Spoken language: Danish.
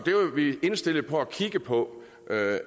vi indstillet på at kigge på